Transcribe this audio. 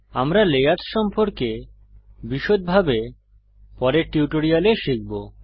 আমরা লেয়ার্স সম্পর্কে বিষদভাবে পরের টিউটোরিয়ালে শিখব